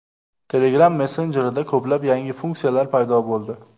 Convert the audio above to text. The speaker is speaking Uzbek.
Telegram messenjerida ko‘plab yangi funksiyalar paydo bo‘ldi.